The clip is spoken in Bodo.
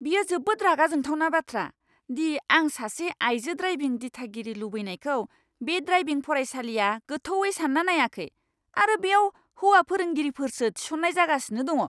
बेयो जोबोद रागा जोंथावना बाथ्रा दि आं सासे आइजो ड्राइभिं दिथागिरि लुबैनायखौ बे ड्राइभिं फरायसालिआ गोथौवै सानना नायाखै, आरो बेयाव हौवा फोरोंगिरिफोरसो थिसन्नाय जागासिनो दङ।